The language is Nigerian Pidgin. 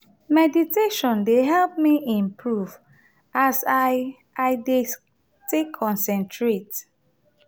meditation dey help me improve as i i dey take concentrate.